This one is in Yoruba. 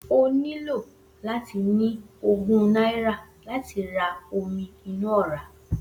O nílò láti ní ogún náírà láti ra omi inú ọ̀rá